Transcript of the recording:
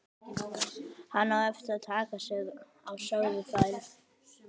Hann á eftir að taka sig á, sögðu þær.